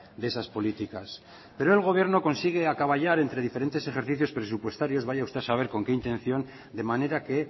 de esas políticas pero el gobierno consigue acaballar entre diferentes ejercicios presupuestarios vaya a usted a saber con qué intención de manera que